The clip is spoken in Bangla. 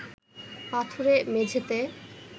পাথুরে মেঝেতে